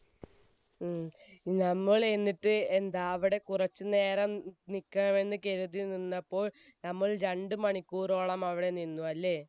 ഉം. നമ്മൾ എന്നിട്ട് എന്താ അവിടെ കുറച്ചുനേരം നിക്കാമെന്ന് കരുതി നിന്നപ്പോൾ, നമ്മൾ രണ്ട് മണിക്കൂറോളം അവിടെ നിന്നു അല്ലെ?